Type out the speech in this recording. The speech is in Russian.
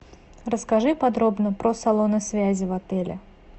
расскажи подробно про салоны связи в отеле